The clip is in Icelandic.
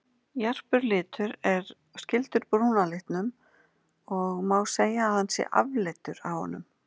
Jarpur litur er skyldur brúna litum og má segja að hann sé afleiddur af honum.